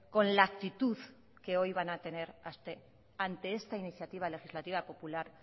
con la actitud que hoy van a tener ante esta iniciativa legislativa popular